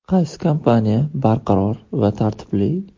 Qaysi kompaniya barqaror va tartibli?